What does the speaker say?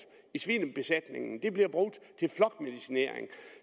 i svinebesætningerne det bliver brugt til flokmedicinering